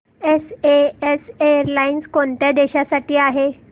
SAS airlines कोणत्या देशांसाठी आहे